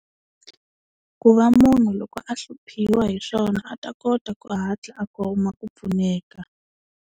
Ku va munhu loko a hluphiwa hi swona a ta kota ku hatla a kuma ku pfuneka.